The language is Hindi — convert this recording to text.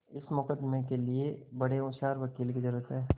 इस मुकदमें के लिए बड़े होशियार वकील की जरुरत है